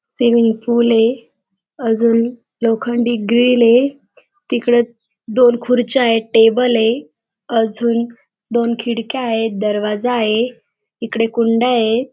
Swimming pool ये अजून लोखंडी ग्रील ये तिकडे दोन खूर्च्या येत. टेबल ये अजून दोन खिडक्या आहेत. दरवाजा आहे. इकडे कुंड्या येत.